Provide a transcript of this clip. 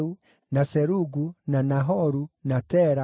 na Serugu, na Nahoru, na Tera,